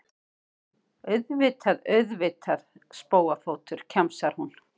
Auðvitað, auðvitað, spóafótur, kjamsar hún.